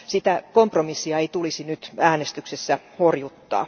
Sitä kompromissia ei tulisi nyt äänestyksessä horjuttaa.